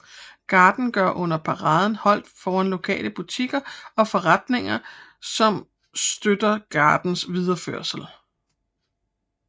Garden gør under paraden holdt foran lokale butikker og forretninger som støtter gardens videreførelse